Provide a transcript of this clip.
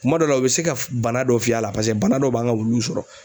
Kuma dɔ la u bɛ se ka bana dɔ f'i yɛ a la paseke bana dɔw b'an ka wuluw sɔrɔ.